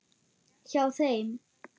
Hjá þeim.